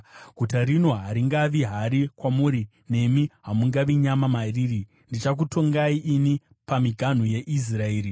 Guta rino haringavi hari kwamuri, nemi hamungavi nyama mariri; ndichakutongai ini pamiganhu yeIsraeri.